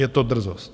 Je to drzost!